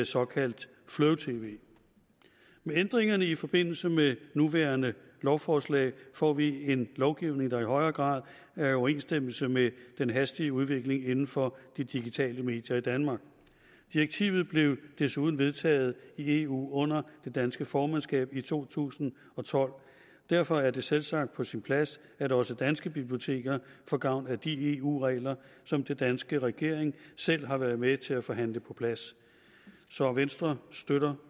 såkaldt flow tv med ændringerne i forbindelse med nuværende lovforslag får vi en lovgivning der i højere grad er i overensstemmelse med den hastige udvikling inden for de digitale medier i danmark direktivet blev desuden vedtaget i eu under det danske formandskab i to tusind og tolv og derfor er det selvsagt på sin plads at også danske biblioteker får gavn af de eu regler som den danske regering selv har været med til at forhandle på plads så venstre støtter